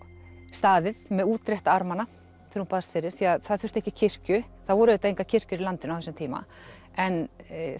staðið með útrétta armana þegar hún baðst fyrir af því það þurfti ekki kirkju þá voru auðvitað engar kirkjur í landinu á þessum tíma en